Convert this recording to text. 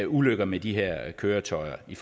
ulykker med de her køretøjer i